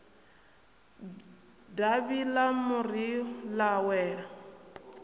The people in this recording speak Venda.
davhi ḽa muri ḽa wela